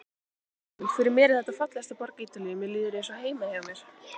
Emil: Fyrir mér er þetta fallegasta borg Ítalíu, mér líður eins og heima hjá mér.